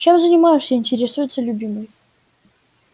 чем занимаешься интересуется любимый